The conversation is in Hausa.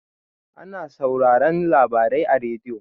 Ana sauraran labarai a radiyo.